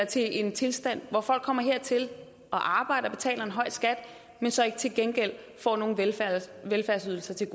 til en tilstand hvor folk kommer hertil og arbejder og betaler en høj skat men så ikke til gengæld får nogle velfærdsydelser til